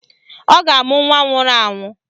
Ọ ga-amụ nwa nwụrụ anwụ